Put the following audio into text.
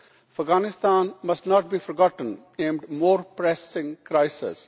Afghanistan must not be forgotten in more pressing crisis.